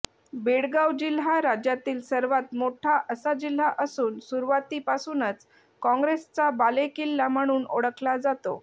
बेळगाव जिल्हा राज्यातील सर्वात मोठा असा जिल्हा असून सुरुवातीपासूनच काँग्रेसचा बालेकिल्ला म्हणून ओळखला जातो